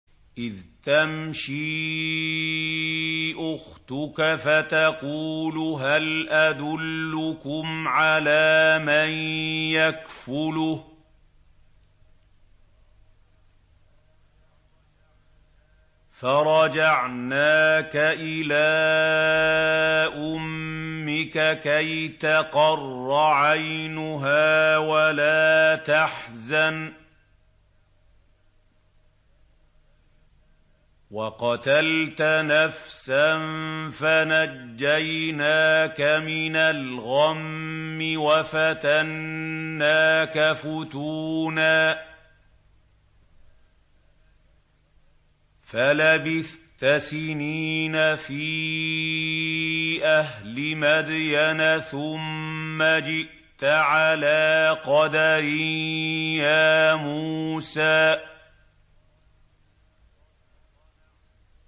إِذْ تَمْشِي أُخْتُكَ فَتَقُولُ هَلْ أَدُلُّكُمْ عَلَىٰ مَن يَكْفُلُهُ ۖ فَرَجَعْنَاكَ إِلَىٰ أُمِّكَ كَيْ تَقَرَّ عَيْنُهَا وَلَا تَحْزَنَ ۚ وَقَتَلْتَ نَفْسًا فَنَجَّيْنَاكَ مِنَ الْغَمِّ وَفَتَنَّاكَ فُتُونًا ۚ فَلَبِثْتَ سِنِينَ فِي أَهْلِ مَدْيَنَ ثُمَّ جِئْتَ عَلَىٰ قَدَرٍ يَا مُوسَىٰ